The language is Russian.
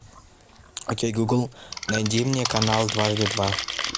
окей гугл найди мне канал дважды два